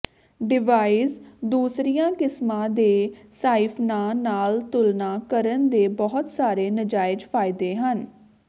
device ਦੂਸਰੀਆਂ ਕਿਸਮਾਂ ਦੇ ਸਾਈਫਨਾਂ ਨਾਲ ਤੁਲਨਾ ਕਰਨ ਦੇ ਬਹੁਤ ਸਾਰੇ ਨਾਜਾਇਜ਼ ਫਾਇਦੇ ਹਨ